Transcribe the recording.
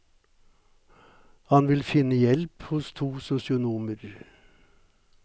Han vil finne hjelp hos to sosionomer.